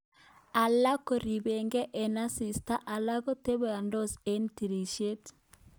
Alak koribegei eng asista alak kotabendos eng tirisyet